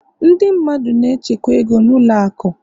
ndị mmadụ na-echekwa ego na ụlọ akụ